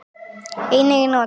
Einnig er notað